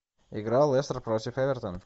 игра лестер против эвертон